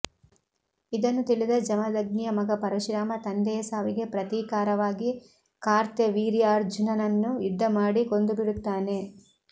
ಇದನ್ನು ತಿಳಿದ ಜಮದಗ್ನಿಯ ಮಗ ಪರಶುರಾಮ ತಂದೆಯ ಸಾವಿಗೆ ಪ್ರತೀಕಾರವಾಗಿ ಕಾರ್ತ್ಯವೀರ್ಯಾರ್ಜುನನನ್ನು ಯುದ್ಧ ಮಾಡಿ ಕೊಂದು ಬಿಡುತ್ತಾನೆ